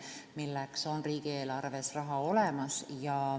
Selleks on riigieelarves raha olemas.